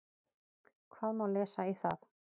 Hvað má lesa í það?